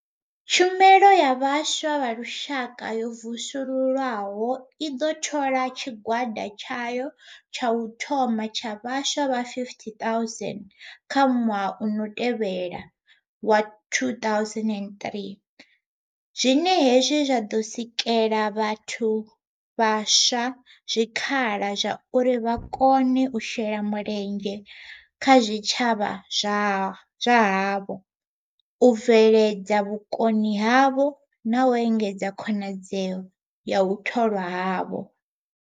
Tshumelo ya Vhaswa ya Lushaka yo vusuluswaho i ḓo thola tshigwada tshayo tsha u thoma tsha vhaswa vha 50 000 kha ṅwaha u tevhelaho wa 2003, zwine hezwi zwa ḓo sikela vhathu vhaswa zwi khala zwauri vha kone u shela mulenzhe kha zwitshavha zwa havho, u bveledza vhukoni havho na u engedza khonadzeo ya u tholwa havho.